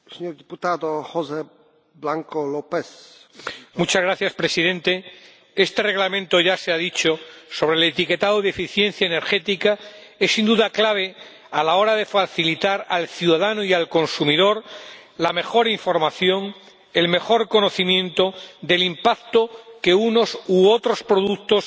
Señor Presidente, este Reglamento —ya se ha dicho— sobre el etiquetado de la eficiencia energética es, sin duda, clave a la hora de facilitar al ciudadano y al consumidor la mejor información, el mejor conocimiento del impacto que unos u otros productos